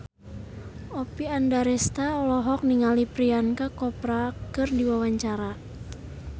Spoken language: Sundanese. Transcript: Oppie Andaresta olohok ningali Priyanka Chopra keur diwawancara